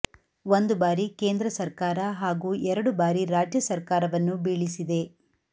ಒಂದು ಬಾರಿ ಕೇಂದ್ರ ಸರ್ಕಾರ ಹಾಗೂ ಎರಡು ಬಾರಿ ರಾಜ್ಯ ಸರ್ಕಾರವನ್ನು ಬೀಳಿಸಿದೆ